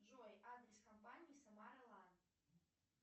джой адрес компании самара лан